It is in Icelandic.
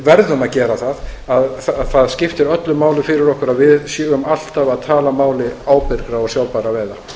verðum að gera það það skiptir öllu máli fyrir okkur að við séum alltaf að tala máli ábyrgra og sjálfbærra